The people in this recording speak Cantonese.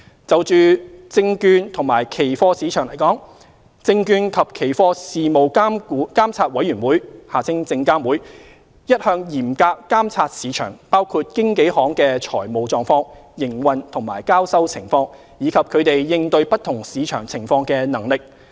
就證券及期貨市場而言，證券及期貨事務監察委員會一向嚴格監察市場，包括經紀行的財務狀況、營運及交收情況，以及他們應對不同市場情況的能力。